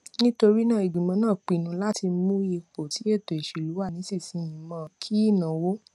nítorí náà ìgbìmọ náà pinnu láti mú ipò tí ètò ìṣèlú wà nísinsìnyí mó kí ìnáwó